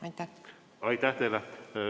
Aitäh teile!